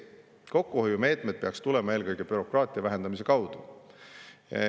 Kokkuhoiumeetmed peaksid tulema eelkõige bürokraatia vähendamise kaudu.